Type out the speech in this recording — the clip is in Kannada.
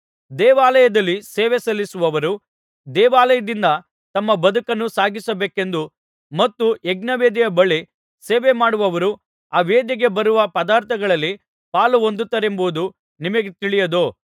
ದೇವಾಲಯದಲ್ಲಿ ಸೇವೆ ಸಲ್ಲಿಸುವವರು ದೇವಾಲಯದಿಂದ ತಮ್ಮ ಬದುಕನ್ನು ಸಾಗಿಸಬೇಕೆಂದೂ ಮತ್ತು ಯಜ್ಞವೇದಿಯ ಬಳಿ ಸೇವೆಮಾಡುವವರು ಆ ವೇದಿಗೆ ಬರುವ ಪದಾರ್ಥಗಳಲ್ಲಿ ಪಾಲುಹೊಂದುತ್ತಾರೆಂಬುದೂ ನಿಮಗೆ ತಿಳಿಯದೋ